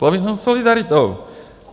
Povinnou solidaritou.